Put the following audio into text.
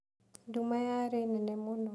Nduma yarĩ nene mũno.